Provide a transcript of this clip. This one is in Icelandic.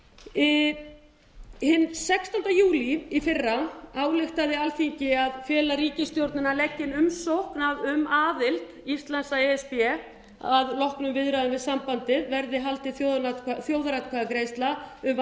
málið hinn sextánda júlí í fyrra ályktaði alþingi að fela ríkisstjórninni að leggja inn umsókn um aðild íslands að e s b og að loknum viðræðum við sambandið yrði haldin þjóðaratkvæðagreiðsla